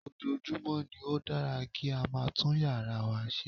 Ojoojúmọ́ ni ó dára kí a máa tún yàrá wa ṣe